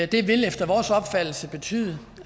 det vil efter vores opfattelse betyde